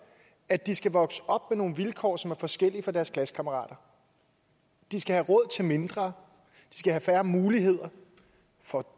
at de skal vokse op med nogle vilkår som er forskellige fra deres klassekammerater de skal have råd til mindre og have færre muligheder for